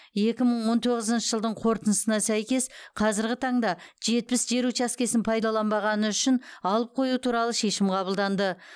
екі мың он тоғызыншы жылдың қорытындысына сәйкес қазіргі таңда жетпіс жер учаскесін пайдаланбағаны үшін алып қою туралы шешім қаблданды